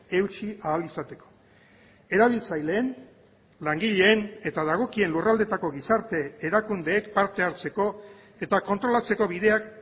eutsi ahal izateko erabiltzaileen langileen eta dagokien lurraldeetako gizarte erakundeek parte hartzeko eta kontrolatzeko bideak